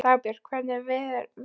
Dagbjörg, hvernig er veðurspáin?